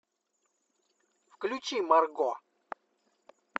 включи марго